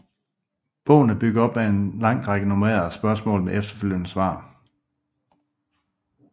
Bogen er bygget op med en lang række nummererede spørgsmål med efterfølgende svar